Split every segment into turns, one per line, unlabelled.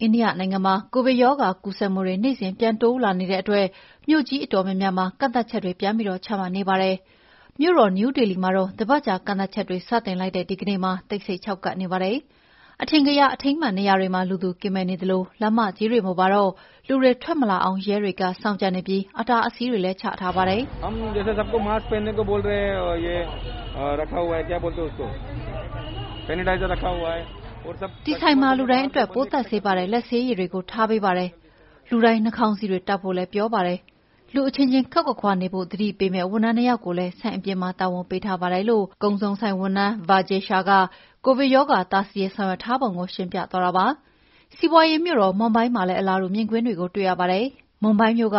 အိန္ဒိယနိုင်ငံမှာ ကိုဗစ်ရောဂါကူးစက်မှုတွေ နေ့စဉ်ပြန်တိုးလာနေတဲ့အတွက် မြို့ကြီးအတော်များများမှာ ကန့်သတ်ချက်တွေ ပြန်ပြီး ချမှတ်နေပါတယ်။ မြို့တော်နယူးဒေလီမှာတော့ တပတ်ကြာ ကန့်သတ်ချက်တွေ စတင် လိုက်တဲ့ဒီကနေ့မှာ တိတ်ဆိတ်ခြောက်ကပ်နေပါတယ်။ အထင်ကရ အထိမ်းအမှတ်နေရာတွေမှာ လူသူကင်းမဲ့နေသလို လမ်းမကြီးတွေမှာတော့ လူတွေထွက်မလာအောင် ရဲတွေစောင့်ကြပ်နေပြီး အတားအဆီးတွေလည်း ချထားပါတယ်။ “ဒီဆိုင်မှာ လူတိုင်းအတွက် ပိုးသတ်ဆေးပါတဲ့ လက်ဆေးရည်တွေ ထားပေးပါတယ်။ လူတိုင်း နှာခေါင်းစည်းတွေ တပ်ဖို့လည်းပြောထားပါတယ်။ လူအချင်းချင်းခပ်ခွါခွါနေဖို့ သတိပေးမယ့် ဝန်ထမ်း နှစ် ယောက်ကိုလည်း ဆိုင်အပြင်မှာ တာဝန်ပေးထားပါတယ်။” ကုန်စုံဆိုင်ဝန်ထမ်း Vijay Shah ကိုဗစ်ရောဂါတားဆီးရေး ဆောင်ရွက်ထားပုံကို ရှင်းပြသွားတာပါ။ စီးပါွးရေးမြို့တော် မွန်ဘိုင်းမှာလည်း အလားတူမြင်ကွင်းတွေတွေ့ရပါတယ်။ မွန်ဘိုင်းမြို့က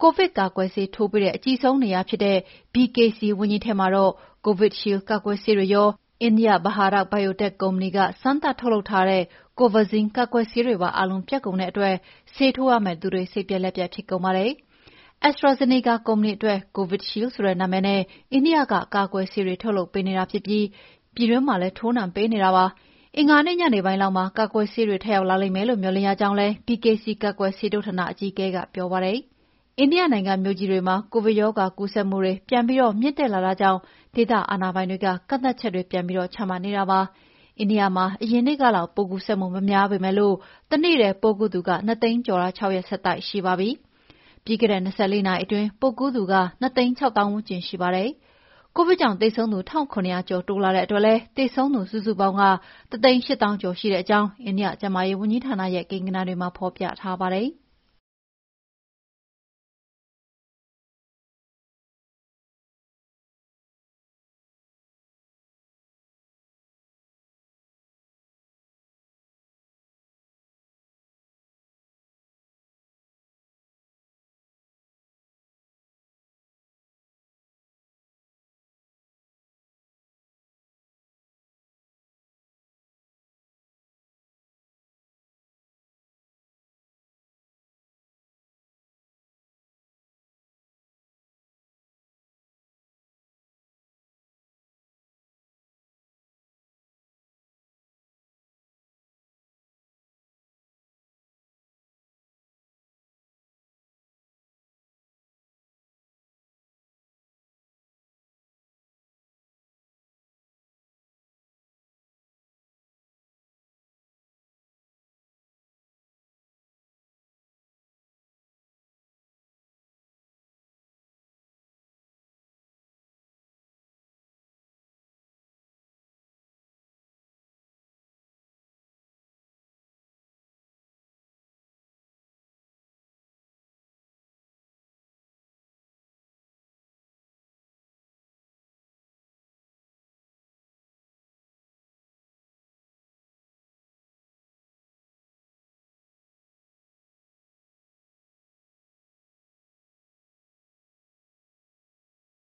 ကိုဗစ်ကာကွယ်ဆေးထိုးပေးတဲ့ အကြီးဆုံးနေရာဖြစ်တဲ့ BKC ဝန်းကြီးထဲမှာ Covidshield ကာကွယ်ဆေးတွေရော အိန္ဒိယ Bharat Biotech ကုမ္ပဏီ စမ်းသပ်ထုတ်လုပ်ထားတဲ့ COVAXIN ကာကွယ်ဆေးတွေပါ အားလုံး ပြတ်ကုန်တဲ့အတွက် ဆေးထိုးရမယ့်သူတွေ စိတ်ပျက်လက်ပျက်ဖြစ်ကုန်ကြပါတယ်။ AstraZeneca ကုမ္ပဏီအတွက် Covidshield ဆိုတဲ့နာမည်နဲ့ အိန္ဒိယက ကာကွယ်ဆေးတွေထုတ်ပေးနေပြီး ပြည်တွင်းမှာလည်း ထိုးနှံပေးနေတာပါ။ အင်္ဂါနေ့ညနေပိုင်းလောက်မှာ ကာကွယ်ဆေးတွေထပ်ရောက်လာမယ့် မေ ျှာ်လင့်ရကြောင်း BKC ကာကွယ်ဆေးထိုးဌာနအကြီးအကဲ ပြောပါတယ်။ အိန္ဒိယနိုင်ငံမြို့ကြီးတွေမှာ ကိုဗစ်ရောဂါကူးစက်ပြန်ပြီး မြင့်တက်လာတာကြောင့် ဒေသအာဏာပိုင်တွေက ကန့်သတ်ချက်တွေပြန်ပြီး ချမှတ်နေတာပါ။ အိန္ဒိယနိုင်ငံမှာ အရင်နေ့လောက် ပိုးကူးစက်မှုမများပေမယ့် တနေ့ထဲပိုးကူးသူ ၂၀၀,၀၀၀ ကျော်တာ ၆ ရက်ဆက်တိုက်ရှိပါပြီ။ ပြီးခဲ့တဲ့ ၂၄ နာရီအတွင်း ပိုးကူးသူ ၂၆၀,၀၀၀ ဝန်းကျင်ရှိပါတယ်။ ကိုဗစ်ကြောင့်သေဆုံးသူ ၁,၇၀၀ ကျော်တိုးလာတဲ့အတွက် သေဆုံးသူစုစုပေါင်း ၁၈၀,၀၀၀ ကျော်ရှိကြောင်း အိန္ဒိယ ကျန်းမာရေးဝန်ကြီးဌာနရဲ့ ကိန်းဂဏန်းတွေမှာဖော်ပြထားပါတယ်။